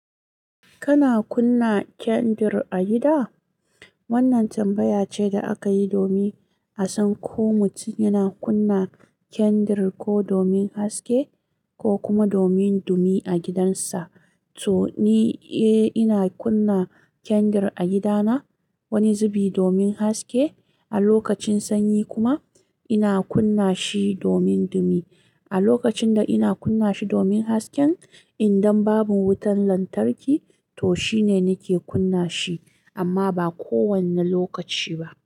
Kana kunna kandir a gida? Wannan tambaya ce da aka yi domin a san ko mutum yana kunna kyandir ko domin haske ko kuma domin dumi a gidansa. To ni, eh ina kunna kyandir a gidana wani zubi domin haske a lokacin sanyi kuma ina kunna shi domin dumi. A lokacin da ina kunna shi domin hasken, idan babu wutan lantarki to shine nake kunna shi amma ba kowanne lokaci ba.